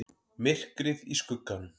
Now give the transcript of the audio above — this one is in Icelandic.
MYRKRIÐ Í SKUGGANUM